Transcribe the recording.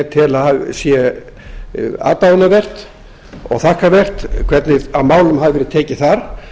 tel aðdáunarvert og þakkarvert hvernig á málum hafi verið tekið þar